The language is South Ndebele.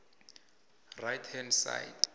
right hand side